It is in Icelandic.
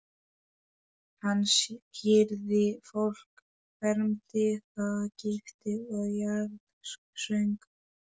Hann skírði fólk, fermdi það, gifti og jarðsöng.